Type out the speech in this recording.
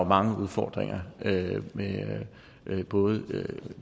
mange udfordringer både